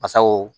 Basaw